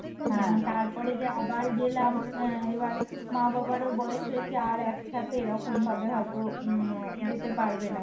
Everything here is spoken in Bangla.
তারপরে যে আবার গেলাম আহ এবার মা বাবারও বয়স হয়েছে আর একসাথে এরকমভাবে হয়ত উম যেতে পারবে না